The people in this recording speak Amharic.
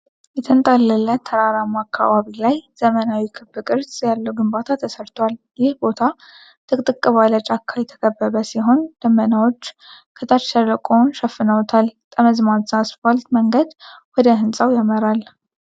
የተንጣለለ ተራራማ አካባቢ ላይ ዘመናዊ ክብ ቅርጽ ያለው ግንባታ ተሰርቷል። ይህ ቦታ ጥቅጥቅ ባለ ጫካ የተከበበ ሲሆን ደመናዎች ከታች ሸለቆውን ሸፍነውታል። ጠመዝማዛ አስፋልት መንገድ ወደ ሕንጻው ያመራል።